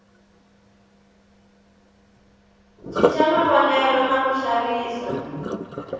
cinca mavonelo na ku xavisa